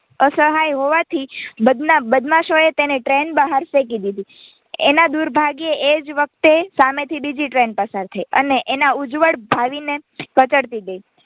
અસહાય હોવાથી બદમાશો તેણે ટ્રેન બહાર ફેંકી દીધી એના દુરભાગ્યે એ જ વખતે સામેથી બીજી ટ્રેન પસાર થઇ અને એના ઉજ્જવળ ભાવિને કચડતી ગઈ.